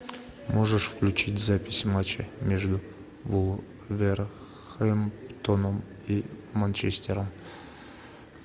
можешь включить запись матча между вулверхэмптоном и манчестером